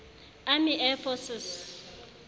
army air forces